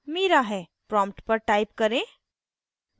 prompt पर type करें: